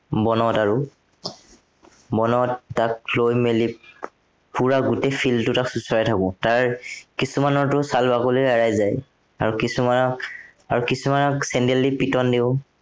বনত আৰু বনত তাক থৈ মেলি পোৰা গোটেই field টো তাক চুচৰাই থাকো। তাৰ কিছুমানৰটো ছাল বাকলি এৰাই যায়। আৰু কিছুমানক, আৰু কিছুমানক চেন্দেল দি পিটন দিও।